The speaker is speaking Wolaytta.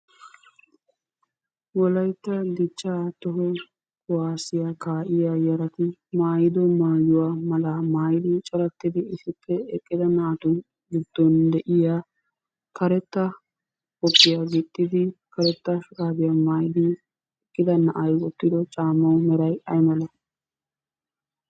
Wolayitta dichchaa toho kuwaasiya kaa"iya yarati maayido maayuwa malaa maayidi corattidi issippe eqqida naatu giddon de'iya karetta qophiya gixxidi karetta shuraabiya maayidi eqqida na"ay wottido caamma meray ayi malati?